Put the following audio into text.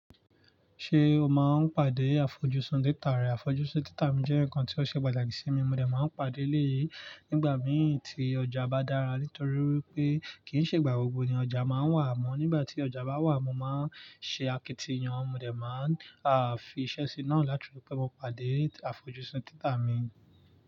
Ṣé o máa ń pàdé àfojúsùn títa rẹ? Àfojúsùn títa mi jẹ́ ǹkan tí ó ṣe pàtàkì sí mi, mo dà máa ń pàdé léèyí nígbà mìí tí ọjà bá dára. Nítorí pé kì í ṣe ìgbà gbogbo ni ọjà máa ń wà mọ́. Nígbà tí ọjà bá wà, mo máa ń ṣe akitiyan, mo dẹ̀ máa ń fi iṣẹ́ sí i náà láti fi pe mo pàdé àfojúsùn títa mi.